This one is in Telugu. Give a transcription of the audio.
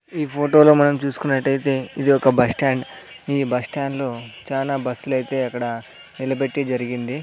ఈ ఫోటోలో మనం చూసుకున్నట్టయితే ఇది ఒక బస్టాండ్ ఈ బస్టాండ్ లో చాలా బస్సులు అయితే అక్కడ నిలబెట్టి జరిగింది.